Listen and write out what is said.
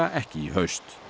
ekki í haust